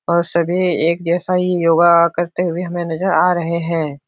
और सभी एक जैसा ही योगा करते हुए हमे नज़र आ रहे हैं।